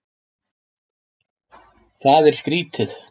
Það er skrítið.